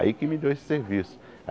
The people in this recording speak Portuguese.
Aí que me deu esse serviço.